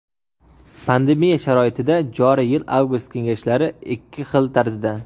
Pandemiya sharoitida joriy yil Avgust kengashlari ikki xil tarzda:.